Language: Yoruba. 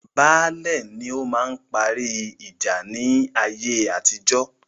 Baálẹ̀ ni ọ máa parí ìjà ní ayé atijọ́